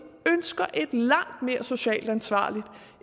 ønsker et langt mere socialt ansvarligt